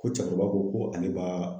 Ko cɛkɔrɔba ko ko ale b'a